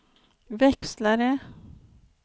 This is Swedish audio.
växlare